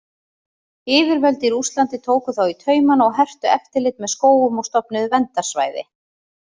Yfirvöld í Rússlandi tóku þá í taumanna og hertu eftirlit með skógum og stofnuðu verndarsvæði.